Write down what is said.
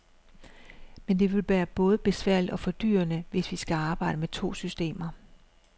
Men det vil både være besværligt og fordyrende, hvis vi skal arbejde med to systemer.